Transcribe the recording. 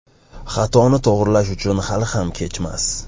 Xatoni to‘g‘rilash uchun hali ham kechmas.